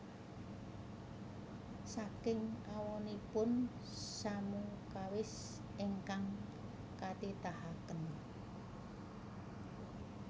Saking awonipun samu kawis ingkang katitahaken